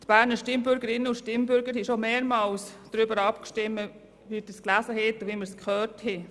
Die Berner Stimmbürgerinnen und Stimmbürger haben schon mehrmals darüber abgestimmt, wie wir gehört und gelesen haben.